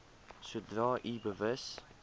sodra u bewus